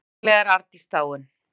Sennilega er Arndís dáin.